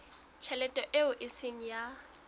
tjhelete eo e seng ya